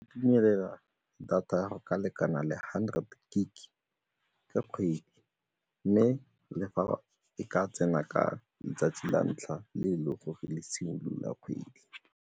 Itumelela data ya go ka lekana le hundred gig-e ka kgwedi mme le fa e ka tsena ka letsatsi la ntlha le e le gore le simolola kgwedi.